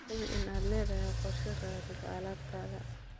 Hubi in aad leedahay qorshe raridda alaabtaada.